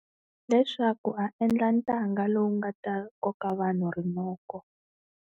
Leswaku a endla ntanga lowu nga ta koka vanhu rinoko.